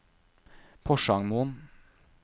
Porsangmoen